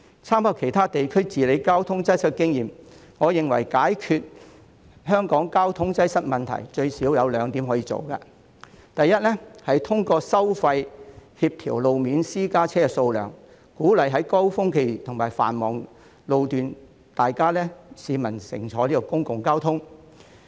參考其他地區治理交通擠塞的經驗，我認為解決香港交通擠塞問題，政府最少有兩項工作可以做：第一，透過收費協調路面私家車數量，鼓勵市民在高峰期和繁忙路段乘搭公共交通工具。